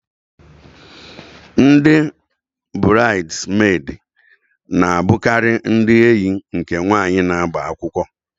Ndị burides medi na abukari ndị enyi nke nwanyị na-agba akwụkwọ